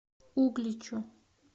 угличу